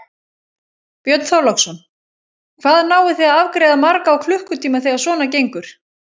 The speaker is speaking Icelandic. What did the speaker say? Björn Þorláksson: Hvað náið þið að afgreiða marga á klukkutíma þegar svona gengur?